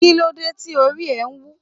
Kílódé tí orí ẹ wú?